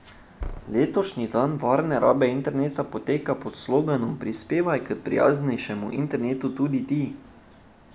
Letošnji dan varne rabe interneta poteka pod sloganom Prispevaj k prijaznejšemu internetu tudi ti!